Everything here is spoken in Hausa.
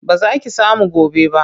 Ba za ki samu gobe ba.